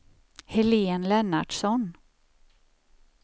Helén Lennartsson